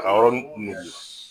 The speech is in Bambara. K'a yɔrɔnin kun nugu